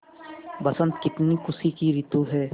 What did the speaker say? बसंत कितनी खुशी की रितु है